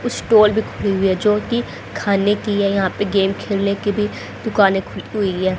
Stall भी खुली हुई है जोकि खाने की है यहां पे गेम खेलने की भी दुकानें खुली हुई है।